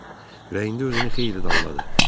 Ürəyində özünü xeyli danladı.